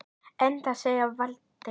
Enda segir Valtýr